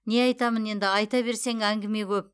не айтамын енді айта берсең әңгіме ғөп